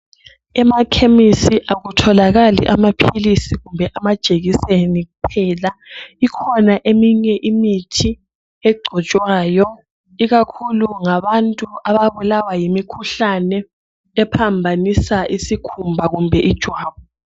Emakhemisi akutholakali amaphilisi kumbe amajekiseni kuphela. Ikhona eminye imithi egcotshwayo ikakhulu ngabantu ababulawa yimikhuhlane ephambanisa isikhumba kumbe ijwabu.